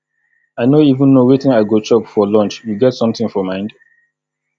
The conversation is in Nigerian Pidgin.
i no even know wetin i go chop for lunch you get something for mind